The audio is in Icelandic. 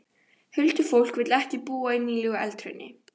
Huldufólk vill ekki búa í nýlegu eldhrauni.